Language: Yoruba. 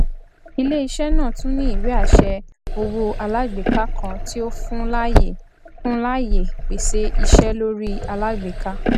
iléiṣẹ náà tún ní ìwéàṣẹ owó alágbèká kan tí o fun láàyè fun láàyè pèsè iṣẹ lórí alágbèká